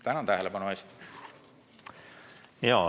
Tänan tähelepanu eest!